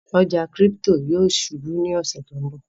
ọja crypto yóò ṣubú ní ọṣẹ to nbọ.